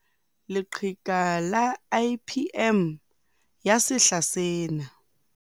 Leqheka la IPM ya sehla sena